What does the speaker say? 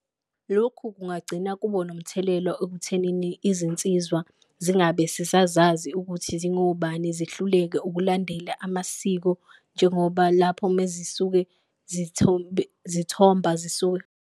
Lokhu kungagcina kubo nomthelela okuthenini izinsizwa zingabe sisazazi ukuthi zingobani, zihluleke ukulandela amasiko njengoba lapho mezisuke zithomba zisuka.